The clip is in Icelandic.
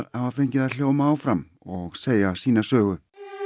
hafa fengið að hljóma áfram og segja sína sögu